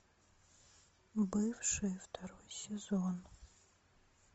бывшие второй сезон